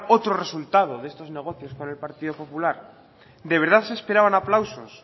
otro resultado de estos negocios con el partido popular de verdad se esperaban aplausos